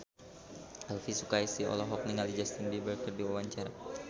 Elvi Sukaesih olohok ningali Justin Beiber keur diwawancara